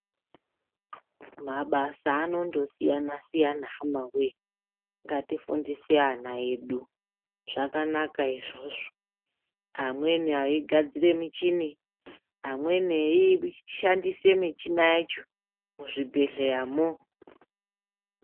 Mabasa anondosiyana siyana hama wee ngatifundise ana edu zvakanaka izvozvo amweni aigadzirw michini amweni eishandise muchina yacho muzvi bhedhleyamo.